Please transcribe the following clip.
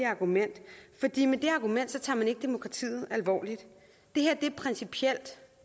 argument tager man ikke demokratiet alvorligt det her er principielt